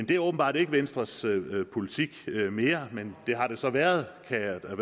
det er åbenbart ikke venstres politik mere men det har det så været kan jeg da